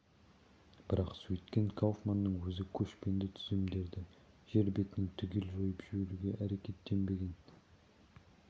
бірақ сөйткен кауфманның өзі көшпенді түземдерді жер бетінен түгел жойып жіберуге әрекеттенбеген